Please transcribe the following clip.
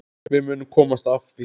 Við munum komast að því.